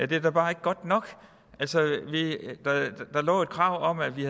det er da bare ikke godt nok der lå et krav om at vi